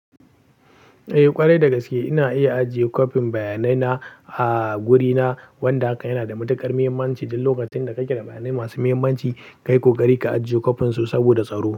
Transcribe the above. Eh ƙwarai dagaske, ina iya ajiye copyn bayanai na a gurina, wanda hakan yana da matuƙar muhimmanci duk lokacin da kake da bayanai masu muhimmanci, ka yi ƙoƙari ka ajiye copyn su saboda tsaro.